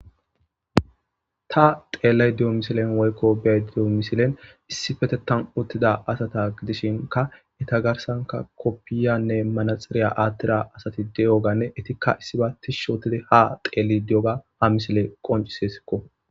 ta xeellayda diyo misilen woykko bey diyo misilen issifetetan uttida asata gidishinka eta garsanka koppiyanne manaxiriya aattira asati de7oganne etikka issiba tishshootidi ha xeelli di7oga ha misiley qoncisesikko